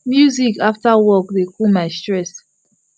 music after work dey cool my stress